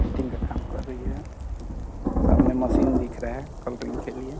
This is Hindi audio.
पेंटिंग का काम कर रही है सामने मशीन दिख रहे है कलरिंग के लिए --